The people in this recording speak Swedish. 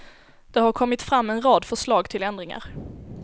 Det har kommit fram en rad förslag till ändringar.